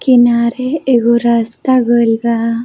किनारे एगो रास्ता गइल बा।